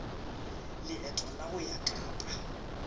leeto la go ya kapa